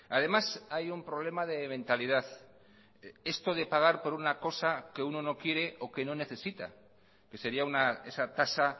además hay un problema de mentalidad esto de pagar por una cosa que uno no quiere o que no necesita que sería esa tasa